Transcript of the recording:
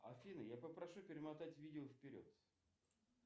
афина я попрошу перемотать видео вперед